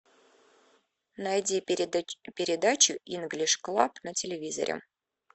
найди передачу инглиш клаб на телевизоре